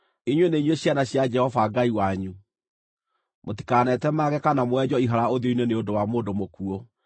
Inyuĩ nĩ inyuĩ ciana cia Jehova Ngai wanyu. Mũtikanetemange kana mwenjwo ihara ũthiũ-inĩ nĩ ũndũ wa mũndũ mũkuũ,